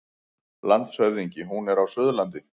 LANDSHÖFÐINGI: Hún er á Suðurlandi.